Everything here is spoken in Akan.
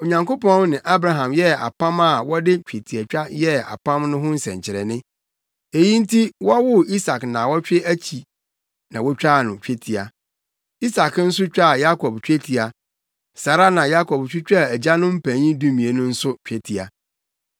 Onyankopɔn ne Abraham yɛɛ apam na wɔde twetiatwa yɛɛ apam no ho nsɛnkyerɛnne. Eyi nti wɔwoo Isak nnaawɔtwe akyi na wotwaa no twetia; Isak nso twaa Yakob twetia, saa ara na Yakob twitwaa agyanom mpanyin dumien no nso twetia.